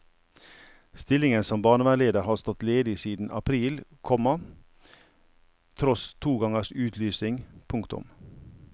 Stillingen som barnevernleder har stått ledig siden april, komma tross to gangers utlysning. punktum